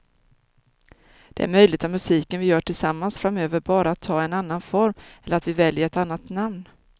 Det är möjligt att musiken vi gör tillsammans framöver bara tar en annan form eller att vi väljer ett annat namn.